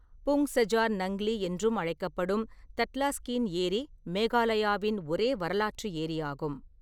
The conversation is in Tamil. புங் சஜார் நங்லி என்றும் அழைக்கப்படும் தட்லாஸ்கீன் ஏரி மேகாலயாவின் ஒரே வரலாற்று ஏரியாகும்.